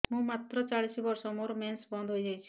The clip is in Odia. ମୁଁ ମାତ୍ର ଚାଳିଶ ବର୍ଷ ମୋର ମେନ୍ସ ବନ୍ଦ ହେଇଯାଇଛି